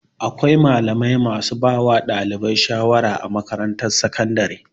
Akwai malamai masu bawa ɗalibai sharawa a makatarantar sakandare.